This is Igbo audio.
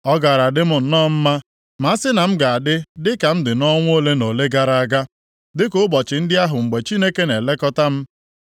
“Ọ gaara adị m nọọ mma ma a sị na m ga-adị dịka m dị nʼọnwa ole na ole gara aga, dịka ụbọchị ndị ahụ mgbe Chineke na-elekọta m,